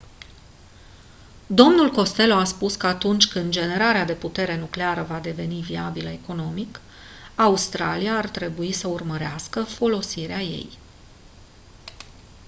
dl costello a spus că atunci când generarea de putere nucleară va deveni viabilă economic australia ar trebui să urmărească folosirea ei